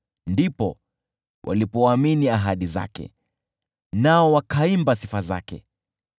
Ndipo walipoamini ahadi zake, nao wakaimba sifa zake.